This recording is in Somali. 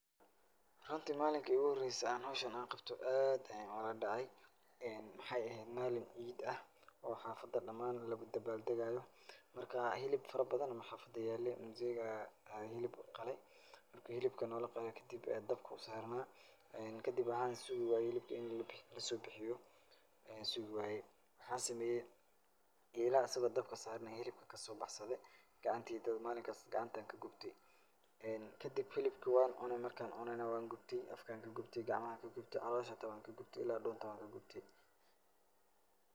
Runtii malinka ay iigu horaysay aan howshan aan qabto aad ayaan u la dhacay. Waxaay eheed maalin ciid ah oo xafad dhamaan lagu dabaal degaayo. Marka hilib farabadan baa xaafad yaalay. muzeega ayaa hilib qalayMarka hilibka noola qalay kadib dabka uu saarnaa. Kadib waxaan sugu waayay hilibka in lasoo bixiyo aan sugu waayay. Waxaan sameeyay eelaha asigo oo dabka saaran ayaa hilibka ka soo baxsaday. Gacantaydaba maalinkaas gacanta ayaan ka gubtay. kadib hilibkii waan cunay, marka aan cunayna waa gubtay, afka ayaan kagubtay, gacamaha ayaan ka gubtay, caloosha hata waan ka gubtay, ila dhunt waan ka gubtay.